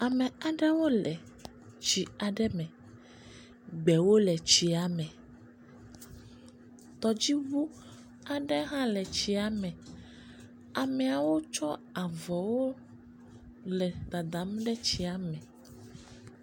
Ame aɖewo le tsi aɖe me. Gbewo le tsia me. Tɔdziŋu aɖe hã le tsia me. Ameawo tsɔ avɔwo le dada ɖe tsia me.